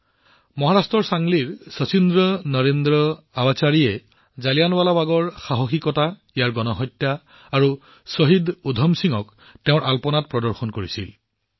চাংলি মহাৰাষ্ট্ৰৰ শচীন নৰেন্দ্ৰ অৱসাৰীজীয়ে তেওঁৰ ৰংগোলীত জালিয়ানৱালাবাগৰ গণহত্যা আৰু শ্বহীদ উধম সিঙৰ সাহসিকতা চিত্ৰিত কৰিছে